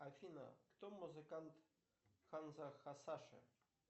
афина кто музыкант ханза хасаши